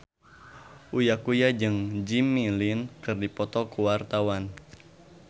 Uya Kuya jeung Jimmy Lin keur dipoto ku wartawan